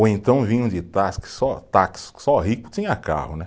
Ou então vinham de só táxi, só rico tinha carro, né?